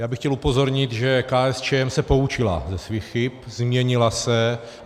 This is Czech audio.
Já bych chtěl upozornit, že KSČM se poučila ze svých chyb, změnila se.